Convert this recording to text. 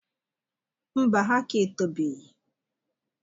Mba, ha aka etobeghi